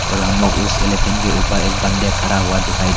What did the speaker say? और हम लोग उस एलीफेंट के ऊपर एक बंदे खरा हुआ दिखाई दे--